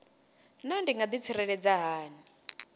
naa ndi nga ḓitsireledza hani